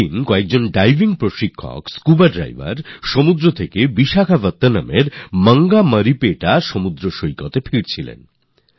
বিশাখাপত্তনমে ডাইভিংয়ের প্রশিক্ষণ দেন যেসব স্কুবা ডাইভার্স একদিন মঙ্গমারিপেটা beachএ সমুদ্র থেকে ফিরে আসছিলেন